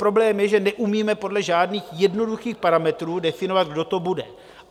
Problém je, že neumíme podle žádných jednoduchých parametrů definovat, kdo to bude.